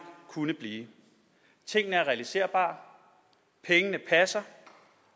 kunne blive tingene er realiserbare pengene passer